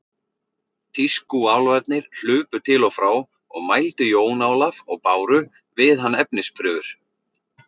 Tískúálfarnir hlupu til og frá og mældu Jón Ólaf og báru við hann efnisprufur.